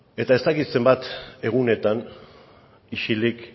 eta ez dakit zenbat egunetan isilik